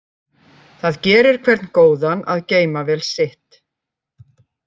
Það gerir hvern góðan að geyma vel sitt.